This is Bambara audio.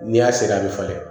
N'i y'a seri a bɛ falen